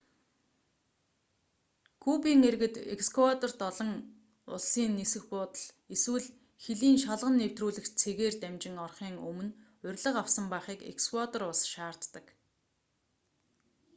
кубын иргэд эквадорт олон улсын нисэх буудал эсвэл хилийн шалган нэвтрүүлэх цэгээр дамжин орохын өмнө урилга авсан байхыг эквадор улс шаарддаг